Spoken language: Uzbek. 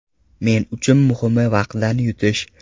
Men uchun muhimi vaqtdan yutish.